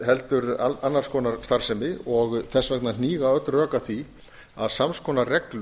heldur annars konar starfsemi og þess vegna hníga öll rök að því að sams konar reglur